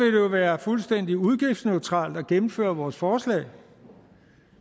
jo være fuldstændig udgiftsneutralt at gennemføre vores forslag